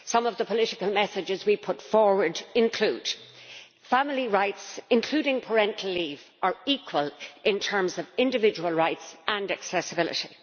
Some of the political messages we put forward include family rights, including parental leave, are equal in terms of individual rights and accessibility.